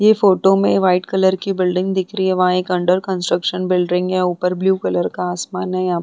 ये फोटो में white colour की बिल्डिंग दिख रही है वहां एक अंडर कंस्ट्रक्शन बिलडिंग है ऊपर ब्लू कलर का आसमान है यहां पे --